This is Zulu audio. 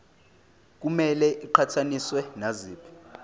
kumele iqhathaniswe naziphi